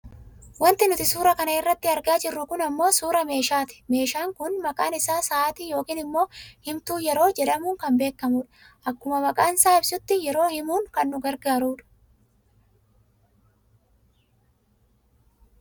Wanti nuti suuraa kana irratti argaa jirru kun ammoo suuraa meeshaati meeshaan kun Maqaan isaa sa'aatii yookaan ammoo himtuu yeroo jedhamuun kan beekkamu dha. Akkuma maqaansaa ibsutti yeroo himuun kan nu gargaarudha.